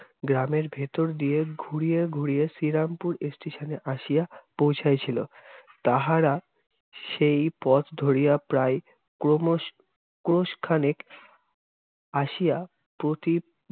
গ্রামের ভেতর দিয়ে ঘুরিয়ে ঘুরিয়ে শ্রীরামপুর Station এ আসিয়া পৌঁছাইছিলো। তাহারা সেই পথ ধরিয়া প্রায় ক্রমস- ক্রোশখানেক আসিয়া পথি~